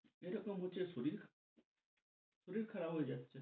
এরকম হচ্ছে শরীর শরীর খারাপ হয়ে যাচ্ছে।